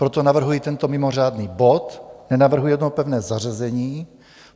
Proto navrhuji tento mimořádný bod, nenavrhuji jeho pevné zařazení.